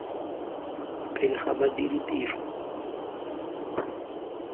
pele ga ba dira tiro